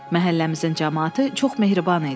Məhəlləmizin camaatı çox mehriban idi.